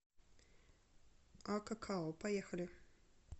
акакао поехали